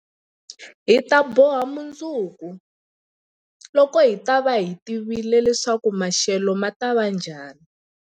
Hi ta boha mundzuku, loko hi ta va hi tivile leswaku maxelo ma ta va njhani.